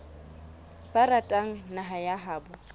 ba ratang naha ya habo